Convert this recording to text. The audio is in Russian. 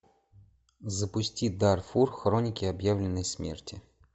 запусти дарфур хроники объявленной смерти